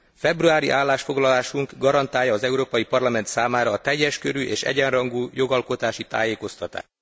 Februári állásfoglalásunk garantálja az Európai Parlament számára a teljes körű és egyenrangú jogalkotási tájékoztatást.